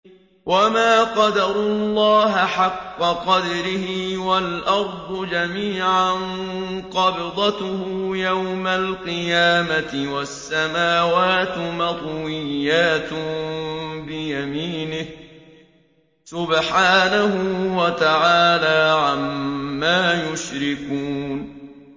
وَمَا قَدَرُوا اللَّهَ حَقَّ قَدْرِهِ وَالْأَرْضُ جَمِيعًا قَبْضَتُهُ يَوْمَ الْقِيَامَةِ وَالسَّمَاوَاتُ مَطْوِيَّاتٌ بِيَمِينِهِ ۚ سُبْحَانَهُ وَتَعَالَىٰ عَمَّا يُشْرِكُونَ